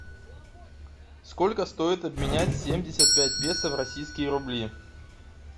сколько стоит обменять семьдесят пять песо в российские рубли